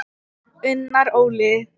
Unnar Óli.